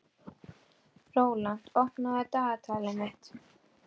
Rólant, opnaðu dagatalið mitt.